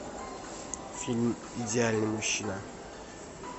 фильм идеальный мужчина